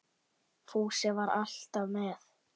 Fúsi var alltaf með